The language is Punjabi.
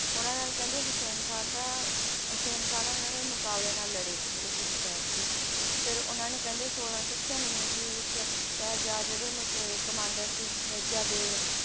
ਉਹਨਾਂ ਨਾਲ ਕਹਿੰਦੇ ਹੁਸੈਨ ਖਾਂ ਦਾ ਹੁਸੈਨ ਖਾਂ ਨਾਲ ਇਹਨਾਂ ਨੇ ਮੁਕਾਬਲੇ ਨਾਲ ਲੜੇ ਜਿਹੜੇ ਗੁਰੂ ਸਾਹਿਬ ਜੀ, ਫਿਰ ਉਹਨਾਂ ਨੇ ਕਹਿੰਦੇ ਛੋਲਾਂ ਸੌ ਛਿਆਨਵੇਂ ਈਸਵੀ ਵਿੱਚ ਸਾਹਿਜਾਦ ਜਿਹੜੇ ਮ~ ਅਹ commander ਸੀ ਮਿਰਜ਼ਾ ਬੇਗ